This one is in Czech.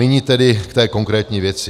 Nyní tedy k té konkrétní věci.